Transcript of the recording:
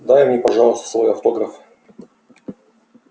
дай мне пожалуйста свой автограф